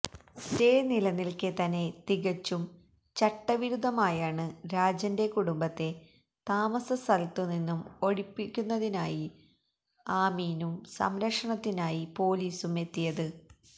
stay നിലനില്ക്കെത്തന്നെ തികച്ചും ചട്ടവിരുദ്ധമായാണ് രാജന്റെ കുടുംബത്തെ താമസസ്ഥലത്തു നിന്നും ഒഴിപ്പിക്കുന്നതിനായി ആമീനും സംരക്ഷണത്തിനായി പോലീസും എത്തിയത്